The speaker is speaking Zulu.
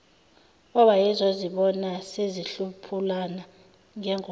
owayezozibona sezihlephulana ngengoma